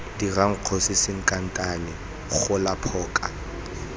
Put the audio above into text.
direng kgosi sankatane gola phoka